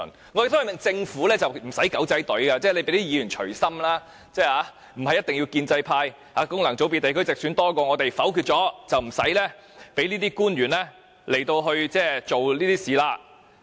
我們呼籲政府無需利用"狗仔隊"，就讓議員隨心投票，不是一定要建制派功能組別或地區直選人數比我們多，否決議案，有關官員便不用做這些事。